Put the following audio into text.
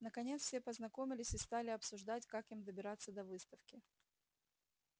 наконец все познакомились и стали обсуждать как им добираться до выставки